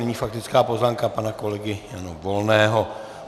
Nyní faktická poznámka pana kolegy Jana Volného.